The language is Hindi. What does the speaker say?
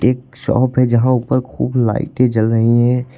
एक शॉप है यहां ऊपर खूब लाइटें जल रही हैं।